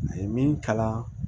A ye min kalan